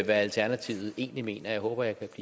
alternativet egentlig mener jeg håber